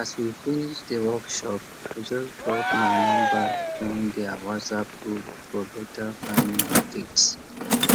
as we finish the workshop i just drop my number join their whatsapp group for better farming updates